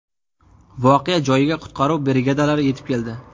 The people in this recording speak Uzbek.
Voqea joyiga qutqaruv brigadalari yetib keldi.